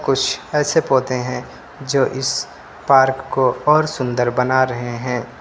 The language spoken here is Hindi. कुछ ऐसे पौधे हैं जो इस पार्क को और सुंदर बना रहे हैं।